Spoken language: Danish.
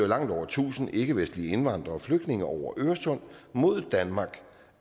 langt over tusind ikkevestlige indvandrere og flygtninge over øresund mod danmark